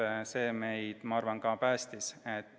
Ma arvan, et see meid ka päästis.